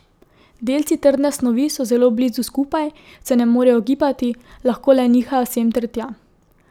Delci trdne snovi so zelo blizu skupaj, se ne morejo gibati, lahko le nihajo sem ter tja.